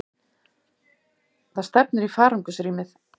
Það stefnir í farangursrýmið.